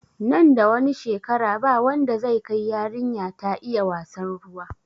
Nan da wani shekara ba wanda zai kai yarinya ta iya wassan ruwa